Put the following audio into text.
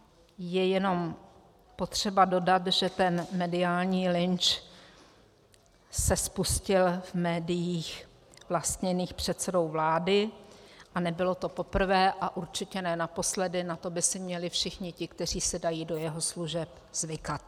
Je jenom potřeba dodat, že ten mediální lynč se spustil v médiích vlastněných předsedou vlády, a nebylo to poprvé a určitě ne naposledy, na to by si měli všichni ti, kteří se dají do jeho služeb, zvykat.